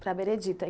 Para a Benedita.